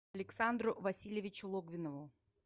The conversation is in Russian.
александру васильевичу логвинову